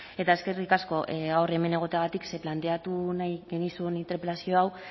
eta eskerrik asko gaur hemen egoteagatik ze planteatu nahi genizun interpelazio hau